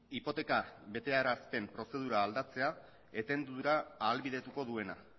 hipoteka betearazpen prozedura aldatzea etendura ahalbidetuko duena